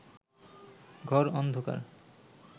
ঘর অন্ধকার